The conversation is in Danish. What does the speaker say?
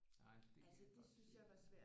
Nej det kan jeg godt se